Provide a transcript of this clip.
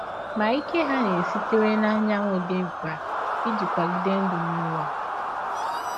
Ma ike hà aṅaa sitere n’anyanwụ dị mkpa iji kwagide ndụ n’ụwa?